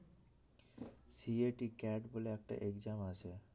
CAT বলে একটা exam আছে